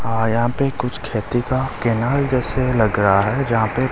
यहां पे कुछ खेती का कैनाल जैसे लग रहा है जहां पे --